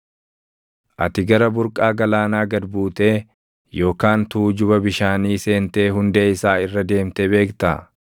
“Ati gara burqaa galaanaa gad buutee yookaan tuujuba bishaanii seentee hundee isaa irra deemtee beektaa?